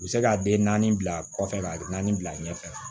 U bɛ se ka den naani bila kɔfɛ ka naani bila ɲɛfɛ